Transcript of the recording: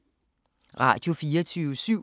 Radio24syv